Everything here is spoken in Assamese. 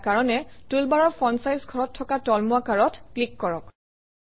ইয়াৰ কাৰণে টুলবাৰৰ ফন্ট চাইজ ঘৰত থকা তলমুৱা কাঁডত ক্লিক কৰক